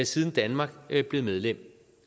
siden danmark blev medlem